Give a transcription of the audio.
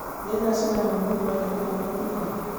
nĩ thaa cigana mũgithi wa Nairobi ũgũkinya